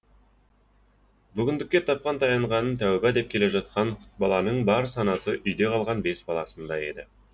бүгіндікке тапқан таянғанын тәубә деп келе жатқан құтбаланың бар санасы үйде қалған бес баласында еді